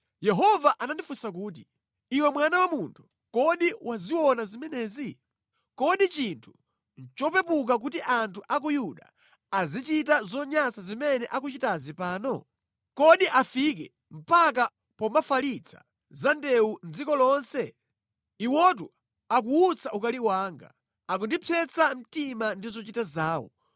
Yehova anandifunsa kuti, “Iwe mwana wa munthu, kodi waziona zimenezi? Kodi nʼchinthu chopepuka kuti anthu a ku Yuda azichita zonyansa zimene akuchitazi pano? Kodi afike mpaka pomafalitsa za ndewu mʼdziko lonse? Iwotu akuwutsa ukali wanga. Akundipsetsa mtima ndi zochita zawo!